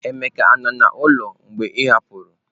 Emeka nọ n'ụlọ mgbe ị hapụrụ?